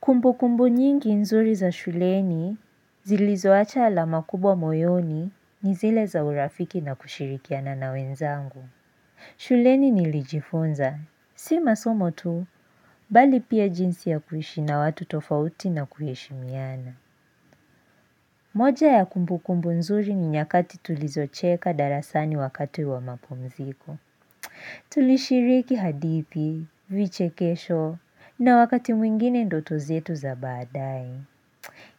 Kumbu kumbu nyingi nzuri za shuleni zilizowacha alama kubwa moyoni nizile za urafiki na kushirikiana na wenzangu. Shuleni nilijifunza, si masomo tu, bali pia jinsi ya kuhishi na watu tofauti na kuheshimiana. Moja ya kumbu kumbu nzuri ni nyakati tulizocheka darasani wakati wa mapumziko. Tulishiriki hadithi, vichekesho, na wakati mwingine ndoto zetu za baadae.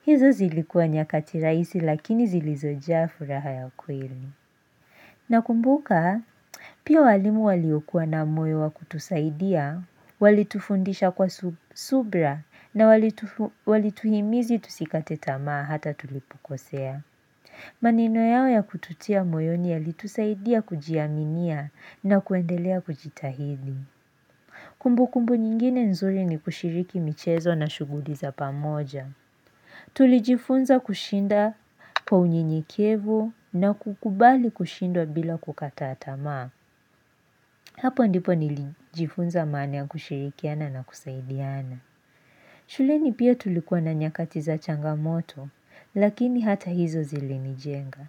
Hizo zilikua nyakati raisi lakini zilizo jaa fu raha ya kweli. Na kumbuka, pia walimu waliokuwa na moyo wa kutusaidia, walitufundisha kwa subra na walituhimizi tusikate tamaa hata tulipokosea. Maneno yao ya kututia moyo ni ya litusaidia kujiaminia na kuendelea kujitahidi. Kumbukumbu nyingine nzuri ni kushiriki michezo na shuguliza pamoja. Tulijifunza kushinda kwa unyenyekevu na kukubali kushindwa bila kukata tamaa. Hapo ndipo nilijifunza maana ya kushirikiana na kusaidiana. Shuleni pia tulikuwa na nyakati za changamoto, lakini hata hizo zilini jenga.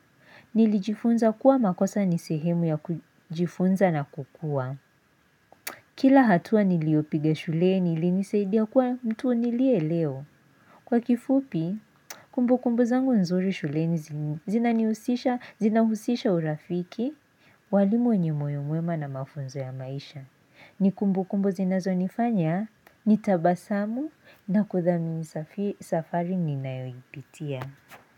Nilijifunza kuwa makosa nisehemu ya kujifunza na kukua. Kila hatua niliopiga shuleni ili nisaidia kuwa mtu nilie leo. Kwa kifupi, kumbu kumbu zangu nzuri shulenzi zinaniusisha, zinahusisha urafiki, walimu wenye moyo mwema na mafunzo ya maisha. Nikumbu kumbu zinazo nifanya, nitabasamu na kuthamu safari ninayoipitia.